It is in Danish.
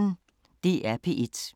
DR P1